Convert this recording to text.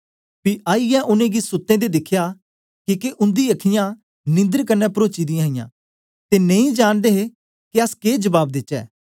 पी आईयै उनेंगी सुते दें दिखया किके उंदी अख्खीं िनंदर कन्ने परोची दीहां ते नेई जांनदे हे के के जबाब देचै